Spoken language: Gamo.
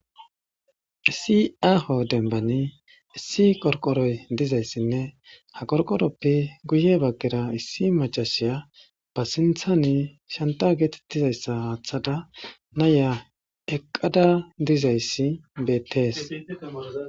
Issi aaho demban issi qoriqoroy dizayssinne ha qoriqoroppe guyye baggera issi maccassiya ba sinthan shancca geetettizaysa aathada nayiya eqqada dizayssi beettees.